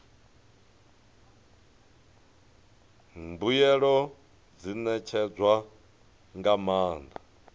mbuelo dzi ṋetshedzwa nga maanḓa